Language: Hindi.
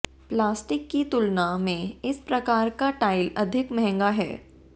प्लास्टिक की तुलना में इस प्रकार का टाइल अधिक महंगा है